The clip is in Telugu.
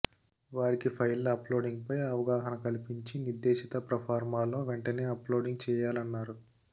వారికి ఫైళ్ల అప్లోడింగ్పై అవగాహన కల్పించి నిర్ధేశిత ప్రొఫార్మాలో వెంటనే అప్లోడింగ్ చేయాలన్నారు